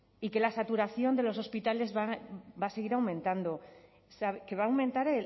y que la saturación de los hospitales va a seguir aumentando que va a aumentar